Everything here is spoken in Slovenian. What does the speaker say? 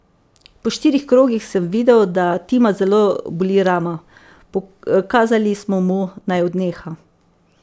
Po štirih krogih sem videl, da Tima zelo boli rama, pokazali smo mu, naj odneha.